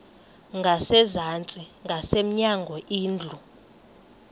ngasezantsi ngasemnyango indlu